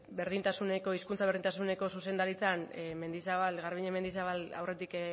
hizkuntza berdintasuneko zuzendaritzan garbiñe mendizabal aurretik